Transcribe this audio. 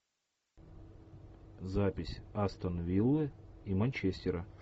запись астон виллы и манчестера